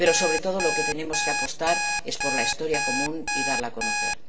Pero, sobre todo, por lo que tenemos que apostar es por la historia común, y darla a conocer.